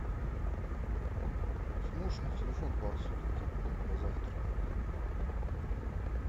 сможешь на телефон пару соток кинуть до завтра